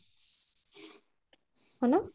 ହଁ ନା